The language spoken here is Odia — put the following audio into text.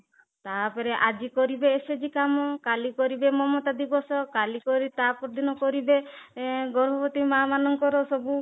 ଆଜି କରିବେ କାମ କାଲି କରିବେ ମମତା ଦିବସ କାଲି କରି ତାପର ଦିନ କରିବେ ଗର୍ଭବତୀ ମା ମାନଙ୍କର ସବୁ